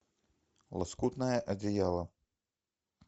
лоскутное одеяло